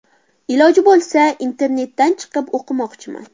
Iloji bo‘lsa internatdan chiqib o‘qimoqchiman.